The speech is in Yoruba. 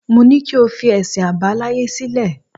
Mo ní kí o fi ẹ̀sìn àbáláyé sílẹ̀.